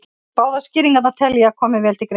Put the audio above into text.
Báðar skýringarnar tel ég að komi vel til greina.